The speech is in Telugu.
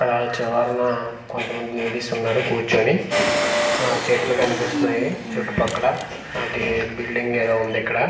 అలా చివరన కొంతమంది లేడీస్ ఉన్నారు కూర్చొని ఆహ్ చెట్లు కనిపిస్తున్నాయి చుట్టూ పక్కల అది బిల్డింగ్ ఏదో ఉంది ఇక్కడ.